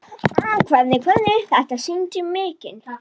Þetta sýndi mikinn kjark.